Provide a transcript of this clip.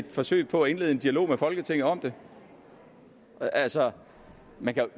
forsøg på at indlede en dialog med folketinget om det altså man kan